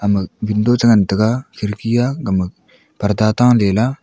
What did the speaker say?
ama window che ngan tega khirki a gama parda chita lah ley.